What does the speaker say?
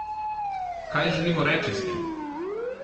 Kaj želimo reči s tem?